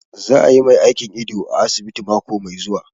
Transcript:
Za a yi mai aikin ido a asibiti mako mai zuwa